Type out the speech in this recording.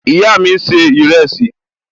Ìyá mi n ṣe ìrẹsì